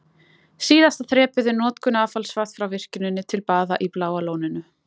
Síðasta þrepið er notkun affallsvatns frá virkjuninni til baða í Bláa lóninu.